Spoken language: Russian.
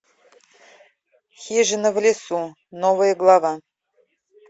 хижина в лесу новая глава